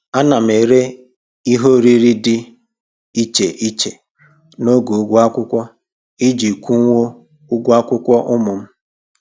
Ana m ere ihe oriri dị iche iche n'oge ụgwọ akwụkwọ iji kwụnwuo ụgwọ akwụkwọ ụmụ m